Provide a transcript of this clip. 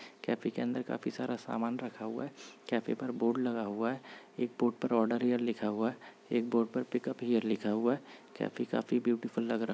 cafe के अंदर बहुत सारा सामान रखा हुआ हैं कॅफे पर बोर्ड लगा हुआ हैं एक बोर्ड पर ऑर्डर हिअर लिखा हुआ हैं एक बोर्ड पर पिकआप हिअर लिखा हुआ हैं कॅफे काफि ब्यूटीफुल लग रहा --